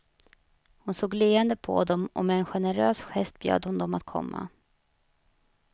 Hon såg leende på dem och med en generös gest bjöd hon dem att komma.